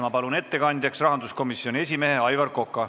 Ma palun ettekandjaks rahanduskomisjoni esimehe Aivar Koka.